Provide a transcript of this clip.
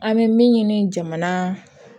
An bɛ min ɲini jamana